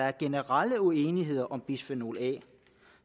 er generel uenighed om bisfenol a